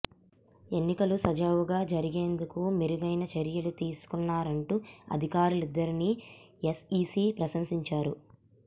ఎన్నికలు సజావుగా జరిగేందుకు మెరుగైన చర్యలు తీసుకున్నారంటూ అధికారులిద్దరిని ఎస్ఈసీ ప్రశంసించారు